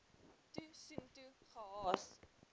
toe soontoe gehaas